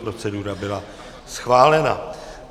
Procedura byla schválena.